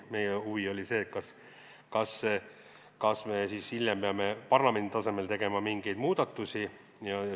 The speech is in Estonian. Meie huvi oli see, kas me hiljem peame parlamendi tasemel tegema mingeid muudatusi.